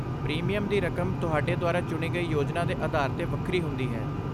Premium ਦੀ ਰਕਮ ਤੁਹਾਡੇ ਦੁਆਰਾ ਚੁਣੀ ਗਈ ਯੋਜਨਾ ਦੇ ਅਧਾਰ 'ਤੇ ਵੱਖਰੀ ਹੁੰਦੀ ਹੈ।